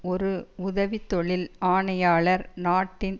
ஒரு உதவி தொழில் ஆணையாளர் நாட்டின்